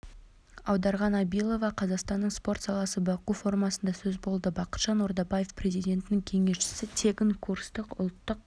аударған абилова қазақстанның спорт саласы баку форумында сөз болды бақытжан ордабаев президентінің кеңесшісі тегін курсты ұлттық